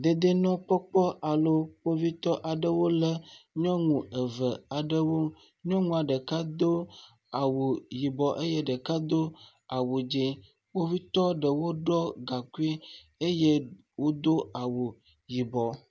Dedienɔnɔgbɔkpɔkpɔ alo kpovitɔ aɖewo lé nyɔnu aɖewo nyɔnua ɖeka do awu yibɔ eye ɖeka do awu dzɛ, kpovitɔ ɖewo ɖɔ gaŋkui eye wodo awu yibɔ.